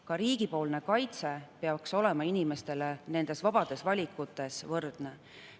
Ka riigi kaitse peaks olema inimestele nende vabade valikute puhul võrdne.